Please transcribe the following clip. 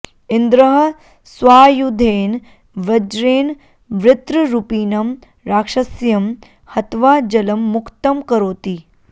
इन्द्रः स्वायुधेन वज्रेण वृत्ररूपिणं राक्षस्यं हत्वा जलं मुक्तं करोति